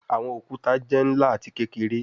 Awọn okuta jẹ nla ati kekere